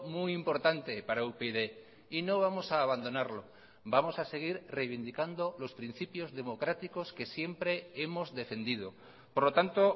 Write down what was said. muy importante para upyd y no vamos a abandonarlo vamos a seguir reivindicando los principios democráticos que siempre hemos defendido por lo tanto